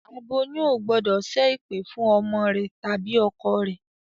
Aboyún ò gbọ́dọ̀ ṣẹ́ ẹ̀pẹ̀ fún ọmọ rẹ tàbí ọkọ rẹ